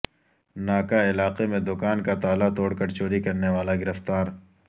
ناکہ علاقہ میں د کان کا تالا توڑ کر چوری کرنے والا گرفتار